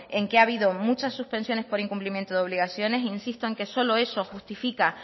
en que ha habido muchas suspensiones por incumplimiento de obligaciones insisto en que solo eso justifica